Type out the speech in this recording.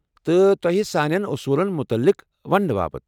تہٕ تۄہہ سانٮ۪ن اوٚصوٗلن متعلق وننہٕ باپت ۔